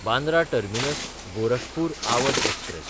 Bandra टर्मिनस–गोरखपूर Awadh express